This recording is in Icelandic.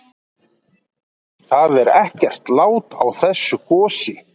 Það er ekkert lát á þessu gosi?